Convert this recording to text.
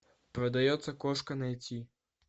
продается кошка найти